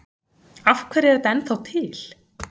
Af hverju er þetta ennþá til?